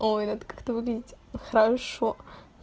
ой это как то выглядеть хорошо